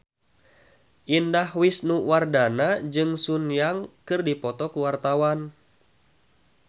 Indah Wisnuwardana jeung Sun Yang keur dipoto ku wartawan